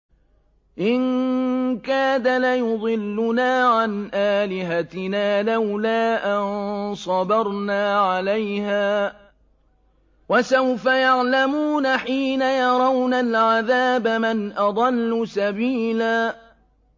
إِن كَادَ لَيُضِلُّنَا عَنْ آلِهَتِنَا لَوْلَا أَن صَبَرْنَا عَلَيْهَا ۚ وَسَوْفَ يَعْلَمُونَ حِينَ يَرَوْنَ الْعَذَابَ مَنْ أَضَلُّ سَبِيلًا